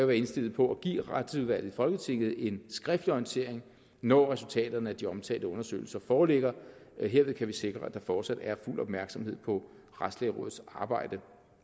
være indstillet på at give retsudvalget i folketinget en skriftlig orientering når resultaterne af de omtalte undersøgelser foreligger herved kan vi sikre at der fortsat er fuld opmærksomhed på retslægerådets arbejde